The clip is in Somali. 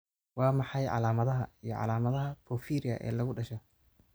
Waa maxay calaamadaha iyo calaamadaha porphyria ee lagu dhasho?